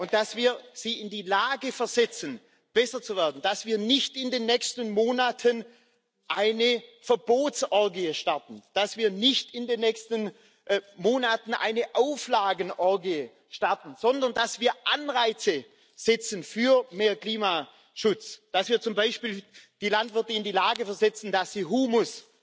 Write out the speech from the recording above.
Und dass wir sie in die Lage versetzen, besser zu werden, dass wir nicht in den nächsten Monaten eine Verbotsorgie starten, dass wir nicht in den nächsten Monaten eine Auflagenorgie starten, sondern dass wir Anreize für mehr Klimaschutz setzen dass wir zum Beispiel die Landwirte in die Lage versetzen, dass sie Humus